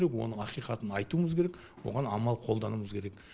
оның ақиқатын айтуымыз керек оған амал қолдануымыз керек